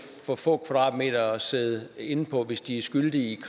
for få kvadratmeter at sidde inde på hvis de er skyldige